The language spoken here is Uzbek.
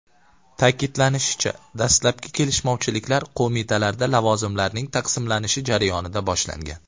Ta’kidlanishicha, dastlabki kelishmovchiliklar qo‘mitalarda lavozimlarning taqsimlanishi jarayonida boshlangan.